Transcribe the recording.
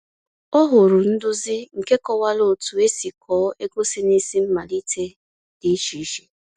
O hụrụ nduzi nke kọwara otu esi kọọ ego si n’isi mmalite dị iche iche.